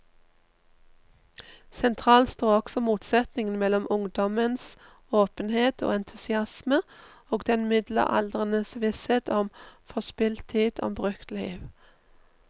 Sentralt står også motsetningen mellom ungdommens åpenhet og entusiasme og den middelaldrendes visshet om forspilt tid, om brukt liv.